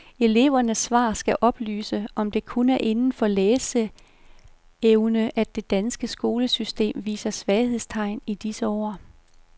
Elevernes svar skal oplyse, om det kun er inden for læseevne, at det danske skolesystem viser svaghedstegn i disse år.